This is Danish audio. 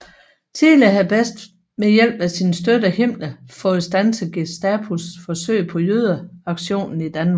Tidligere havde Best ved hjælp af sin støtte Himmler fået standset Gestapos forsøg på jødeaktioner i Danmark